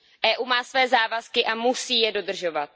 EU má své závazky a musí je dodržovat.